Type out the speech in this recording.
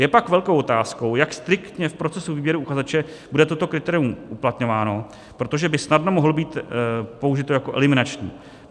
Je pak velkou otázkou, jak striktně v procesu výběru uchazeče bude to kritérium uplatňováno, protože by snadno mohlo být použito jako eliminační.